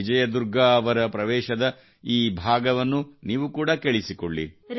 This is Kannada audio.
ವಿಜಯ ದುರ್ಗಾ ಅವರ ಎಂಟ್ರಿಯ ಈ ಭಾಗವನ್ನು ನೀವು ಕೂಡಾ ಕೇಳಿಸಿಕೊಳ್ಳಿ